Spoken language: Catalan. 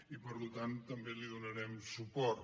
i per tant també hi donarem suport